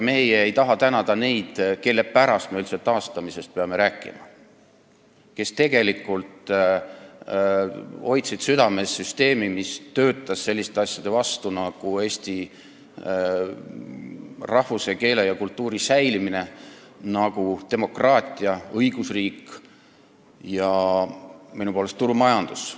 Me ei taha tänada neid, kelle pärast me üldse taastamisest peame rääkima, st kes tegelikult hoidsid südames süsteemi, mis töötas selliste asjade vastu nagu Eesti rahvuse, keele ja kultuuri säilimine, demokraatia ja õigusriik, minu poolest ka turumajandus.